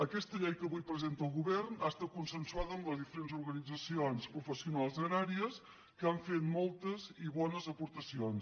aques·ta llei que avui presenta el govern ha estat consensuada amb les diferents organitzacions professionals agràries que han fet moltes i bones aportacions